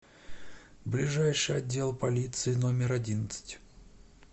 ближайший отдел полиции номер одиннадцать